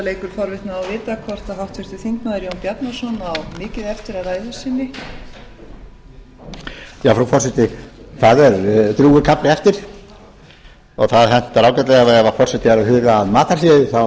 að vita hvort háttvirtur þingmaður jón bjarnason á mikið eftir af ræðu sinni frú forseti það er drjúgur kafli eftir og það hentar ágætlega ef forseti er að huga að matarhléi þá